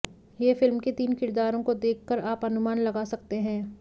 यह फिल्म के तीन किरदारों को देख कर आप अनुमान लगा सकते हैं